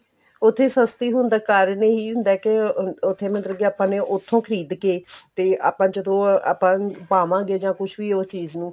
ਉੱਥੇ ਸਸਤੀ ਹੋਣ ਦਾ ਕਾਰਣ ਇਹੀ ਹੁੰਦਾ ਕੀ ਅਹ ਉੱਥੇ ਮਤਲਬ ਕੀ ਆਪਾਂ ਨੇ ਉੱਥੋਂ ਖਰੀਦ ਕੇ ਤੇ ਆਪਾਂ ਜਦੋਂ ਆਪਾਂ ਪਾਮਾਗੇ ਜਾਂ ਕੁੱਹ ਵੀ ਉਸ ਚੀਜ਼ ਨੂੰ